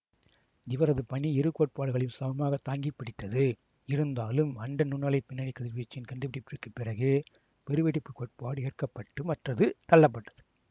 இவரது பணி இருகோட்பாடுகளையும் சமமாகத் தாங்கிப்பிடித்தது இருந்தாலும் அண்ட நுண்ணலைப் பின்னணி கதிர்வீச்சின் கண்டுபிடிப்பிற்குப் பிறகே பெருவெடிப்புக் கோட்பாடு ஏற்கப்பட்டு மற்றது தள்ளப்பட்டது